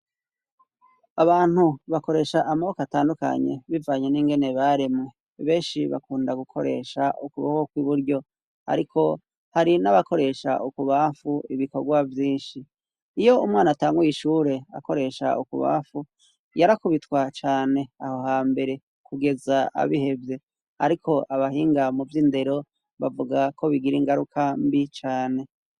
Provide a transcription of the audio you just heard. Abantu bakoresha amaboko atandukanye bivanye n'ingene baremwe benshi bakunda gukoresha ukuboko kw'iburyo ariko hari n'abakoresha ukubafu ibikorwa vyinshi, iyo umwana atanguye ishure akoresha ukubafu yarakubitwa cane aho ha mbere kugeza abihevye ,ariko abahinga mu vy'indero bavuga ko bigira ingaruka mbi cane.